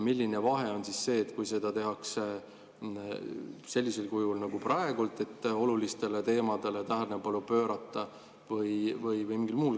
Milline vahe on selles, kui seda tehakse sellisel kujul nagu praegu, et olulistele teemadele tähelepanu pöörata, või mingil muul moel?